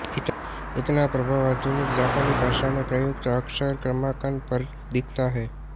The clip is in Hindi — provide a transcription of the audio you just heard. इनका प्रभाव आधुनिक जापानी भाषा में प्रयुक्त अक्षर क्रमांकन पर भी दिखता है